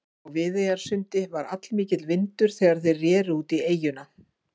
Á Viðeyjarsundi var allmikill vindur þegar þeir reru út í eyjuna.